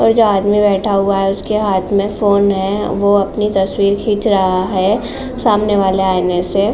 और जो आदमी बैठा हुआ है। उसके हाथ में फोन है वो अपनी तस्वीर खीच रहा है सामने वाले आईने से --